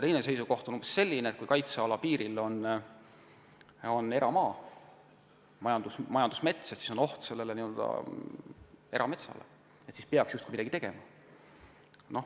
Teine seisukoht on umbes selline, et kui kaitsealapiiril on eramaa või majandusmets, siis satuvad need ohtu ja midagi peaks justkui tegema.